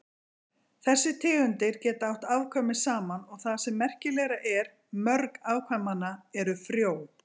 Þessar tegundir geta átt afkvæmi saman og það sem merkilegra er, mörg afkvæmanna eru frjó.